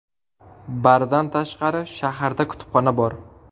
Bardan tashqari, shaharda kutubxona bor.